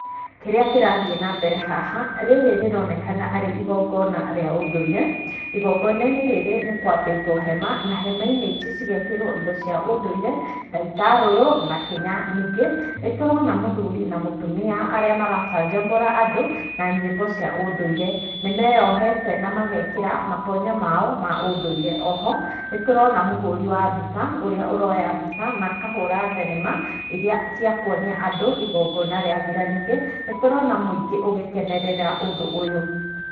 Kĩrĩa kĩrathiĩ na mbere haha, rĩrĩ rĩronekana arĩ igongona rĩa ũndũire, igongona-inĩ rĩrĩ nĩ kwambĩtwo hema, na hema-inĩ ici cigekĩrwo indo cia ũndũire, ta itarũrũ na kĩnya, ningĩ, nĩ tũrona mũthuri na mutumia arĩa maracanjamũra andũ na nyĩmbo cia ũndũire, nĩ meyohete na magekĩra matonyo mao ma ũndũire. O ho nĩ tũrona mũhũri wa mbica ũrĩa ũroya mbica na akahũra thenema iria cia kuonia andũ igongona rĩathira, ningĩ nĩ tũrona mũingĩ ũgĩkenerera ũndũ ũyũ.